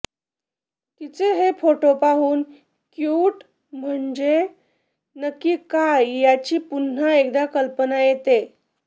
तिचे हे फोटो पाहून क्युट म्हणजे नक्की काय याची पुन्हा एकदा कल्पना येते